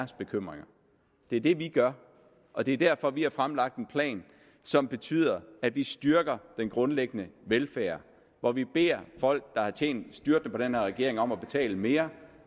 bekymringer det er det vi gør og det er derfor vi har fremlagt en plan som betyder at vi styrker den grundlæggende velfærd en hvor vi beder folk der har tjent styrtende på den her regering om at betale mere